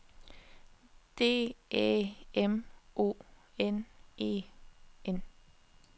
D Æ M O N E N